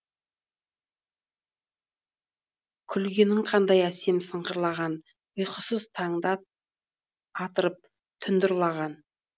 күлгенің қандай әсем сыңғырлаған ұйқысыз таңды атырып тұнді ұрлаған